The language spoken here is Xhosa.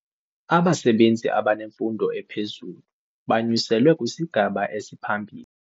Abasebenzi abanemfundo ephezulu banyuselwe kwisigaba esiphambili.